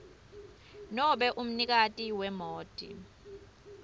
nobe umnikati wemoti